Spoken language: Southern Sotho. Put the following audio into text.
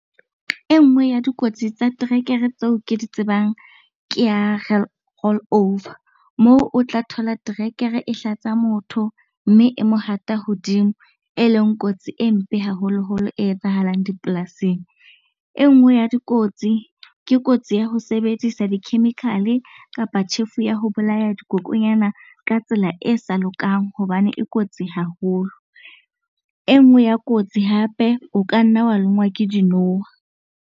E nngwe ya dikotsi tsa terekere tseo ke di tsebang ke ya roll-over. Moo o tla thola terekere e hlatsa motho mme e mo hata hodimo e leng kotsi e mpe haholoholo e etsahalang dipolasing. E nngwe ya dikotsi, ke kotsi ya ho sebedisa di-chemical-e kapa tjhefu ya ho bolaya dikokonyana ka tsela e sa lokang hobane e kotsi haholo. E nngwe ya kotsi hape, o ka nna wa lonngwa ke dinoha.